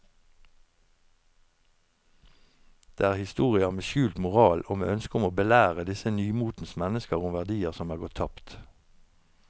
Det er historier med skjult moral og med ønske om å belære disse nymotens mennesker om verdier som er gått tapt.